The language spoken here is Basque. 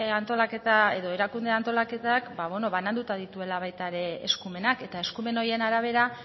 antolaketa edo erakunde antolaketak bananduta dituela baita ere eskumenak eta eskumen horien arabera